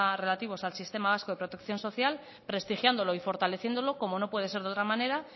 relativos al sistema vasco de protección social prestigiándolo y fortaleciéndolo como no puede ser de otra manera